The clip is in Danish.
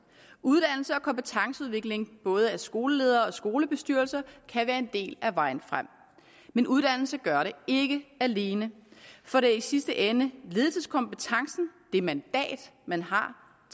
uddannelse og kompetenceudvikling af både skoleledere og skolebestyrelser kan være en del af vejen frem men uddannelse gør det ikke alene for det er i sidste ende ledelseskompetencen det mandat man har